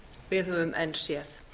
við höfum enn séð